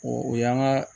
O y'an ka